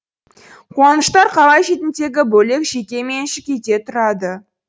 қуаныштар қала шетіндегі бөлек жеке меншік үйде тұрады